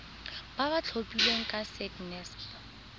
ba ba tlhophilweng ke sacnasp